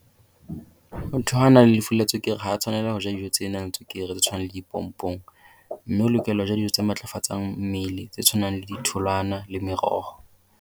Motho ha a na le lefu la tswekere ha tswhanelwa ho ja dijo tse nang le tswekere tse tshwanang dipongpong. Mme o lokela ho ja dijo tse matlafatsang mmele tse tshwanang le ditholwana le meroho.